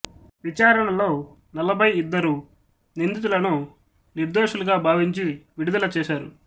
విచారణలో నలభై ఇద్దరు నిందితులను నిర్దోషులుగా భావించి విడుదల చేసారు